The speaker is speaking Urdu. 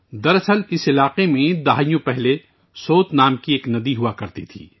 دراصل کئی دہائیاں پہلے اس علاقے میں سوت نامی ایک ندی ہوا کرتی تھی